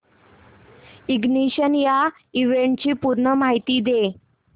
ignition या इव्हेंटची पूर्ण माहिती दे